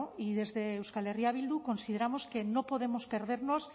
y desde euskal herria bildu consideramos que no podemos perdernos